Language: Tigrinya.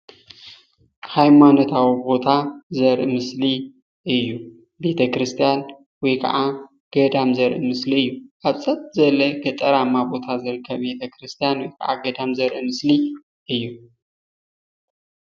ሃይማኖታዊ ቦታ ዘርኢ ምስሊ እዩ፡፡ ቤተክርስትያን ወይ ከዓ ገዳም ዘርኢ ምስሊ እዩ፡፡ ኣብ ሰጥ ዝበለ ገጠራማ ቦታ ዝርከብ ቤተክርስትያ ወይ ከዓ ገዳም ዘርኢ ምስሊ እዩ፡፡